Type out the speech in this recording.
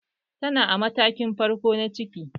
Tana a matakin farko na ciki